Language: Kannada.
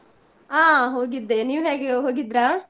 ಹಾ ಹೋಗಿದ್ದೆ, ನೀವ್ ಹೇಗೆ ಹೋಗಿದ್ರಾ?